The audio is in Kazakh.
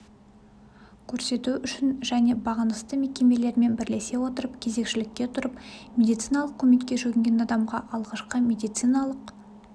көрсету үшін және бағынысты мекемелерімен бірлесе отырып кезекшелікке тұрып медициналық көмекке жүгінген адамға алғашқы медициналық